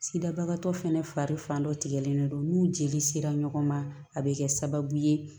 Sidabagatɔ fɛnɛ fari dɔ tigɛlen don n'u jeli sera ɲɔgɔn ma a bɛ kɛ sababu ye